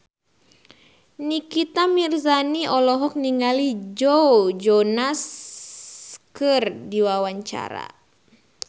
Nikita Mirzani olohok ningali Joe Jonas keur diwawancara